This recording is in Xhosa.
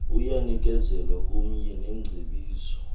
kuyanikezelwa kumye nengcebiso